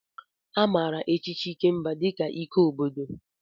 A maara echichi Ikemba dị ka ike obodo.